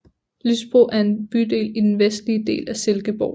Lysbro er en bydel i den vestlige del af Silkeborg